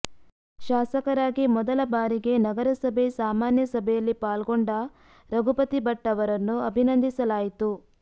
ಶಾಸಕರಾಗಿ ಮೊದಲ ಬಾರಿಗೆ ನಗರಸಭೆ ಸಾಮಾನ್ಯಸಭೆಯಲ್ಲಿ ಪಾಲ್ಗೊಂಡ ರಘುಪತಿ ಭಟ್ ಅವರನ್ನು ಅಭಿನಂದಿಸಲಾಯಿತು